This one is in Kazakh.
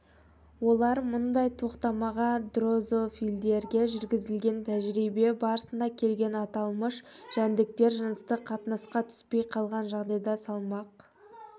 олар мұндай тоқтамға дрозофилдерге жүргізілген тәжірибе барысында келген аталмыш жәндіктер жыныстық қатынасқа түспей қалған жағдайда салмақ